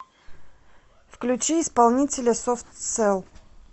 включи исполнителя софт селл